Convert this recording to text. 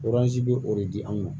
bɛ o de di anw ma